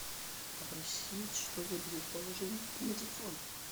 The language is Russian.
попросить чтобы друг положил деньги на телефон